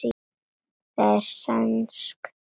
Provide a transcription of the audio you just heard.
það er sænskt orð